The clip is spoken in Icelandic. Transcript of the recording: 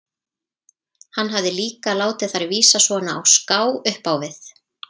Hann hafði líka látið þær vísa svona á ská upp á við.